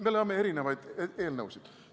Me loeme erinevaid eelnõusid.